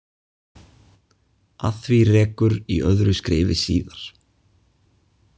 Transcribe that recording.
Að því rekur í öðru skrifi síðar.